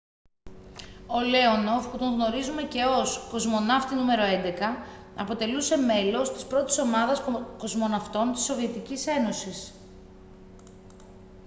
ο λέονοφ που τον γνωρίζουμε και ως «κοσμοναύτη νο.11» αποτελούσε μέλος της πρώτης ομάδας κοσμοναυτών της σοβιετικής ένωσης